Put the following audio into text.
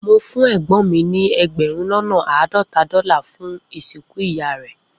Mo fun egbon mi ni egberun lona aadota dola fun isinku Iya re